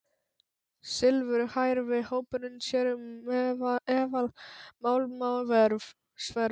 Silfurhærði hópurinn sér um eðalmálma og sverð.